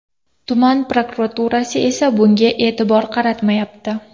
Tuman prokuraturasi esa bunga e’tibor qaratmayapti.